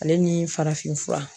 Ale ni farafin fura